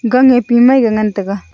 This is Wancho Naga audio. Kang ae pi ka ngan taega.